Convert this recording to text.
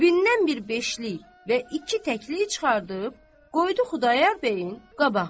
Cibindən bir beşlik və iki təkli çıxardıb, qoydu Xudayar bəyin qabağına.